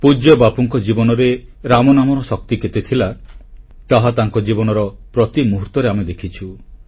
ପୂଜ୍ୟ ବାପୁଙ୍କ ଜୀବନରେ ରାମ ନାମର ଶକ୍ତି କେତେ ଥିଲା ତାହା ତାଙ୍କ ଜୀବନର ପ୍ରତି ମୁହୂର୍ତ୍ତରେ ଆମେ ଦେଖିଛୁ